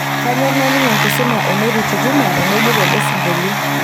kanyor naining enkisuma e mary tutuma teneidip ele singolio